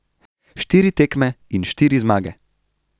Štiri tekme in štiri zmage.